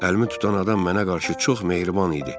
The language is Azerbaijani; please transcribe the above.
Əlimi tutan adam mənə qarşı çox mehriban idi.